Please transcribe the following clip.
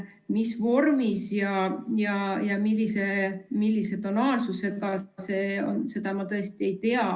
Mis vormis ja millise tonaalsusega see on, seda ma tõesti ei tea.